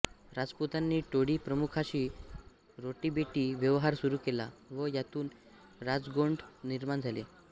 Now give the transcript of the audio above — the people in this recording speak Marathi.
राजपुतांनी टोळी प्रमुखाशी रोटीबेटी व्यवहार सुरू केला व यातून राजगोंड निर्माण झाले